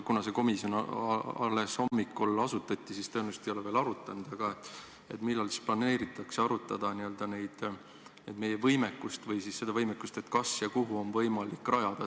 Kuna see komisjon asutati alles hommikul, siis tõenäoliselt ei ole te seda veel arutanud, aga millal planeeritakse arutada meie võimekust või seda, kas ja kuhu on võimalik midagi rajada.